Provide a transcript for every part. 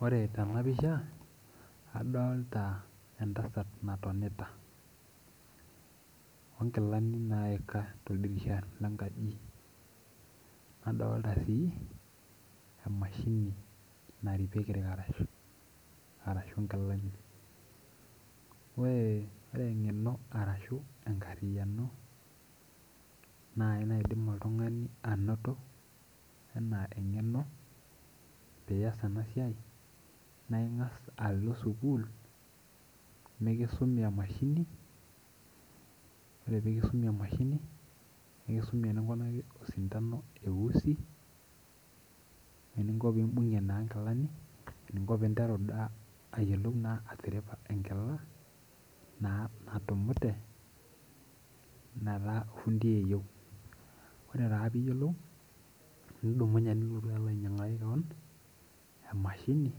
Ore tenapisha adolta entasat natonita onkilani naika toldirisha lenkaji nadolta sii emashini naripieki irkarash arashu inkilani ore eng'eno arashu enkarriyiano naai naidim oltung'ani anoto enaa eng'eno piiyas ena siai naa ing'as alo sukuul mikisumi emashini ore pikisumi emashini nikisumi eninkunaki osindano eusi weninko naa pimbung'ie naa inkilani eninko pinteru daa ayiolou naa atiripa enkila naa natumute nataa ofundi eyieu ore taa piyiolou nidumunye nilotu alo ainyiang'aki kewon emashini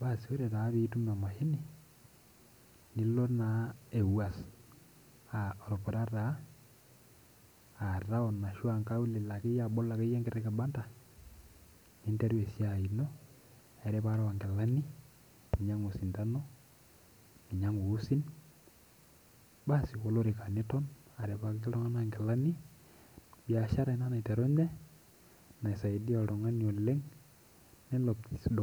basi ore taa piitum emashini nilo naa ewuas uh orpura taa uh taon ashua inkaulele akeyie abol akeyie enkiti kibanda ninteru esiai ino eripare onkilani ninyiang'u osindano ninyiang'u uusin basi olorika niton aripaki iltung'anak inkilani biashara ina naiterunye naisaidia oltung'ani oleng.